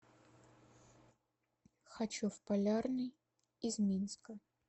хочу в полярный из минска